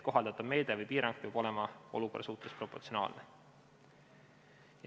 Kohaldatav meede või piirang peab olema olukorra suhtes proportsionaalne.